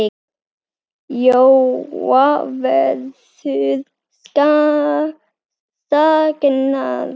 Jóa verður saknað.